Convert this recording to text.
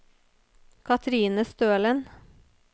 Katrine Stølen